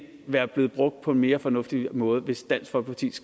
være blevet brugt på en mere fornuftig måde hvis dansk folkeparti